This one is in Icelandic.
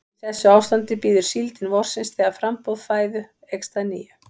Í þessu ástandi bíður síldin vorsins þegar framboð fæðu eykst að nýju.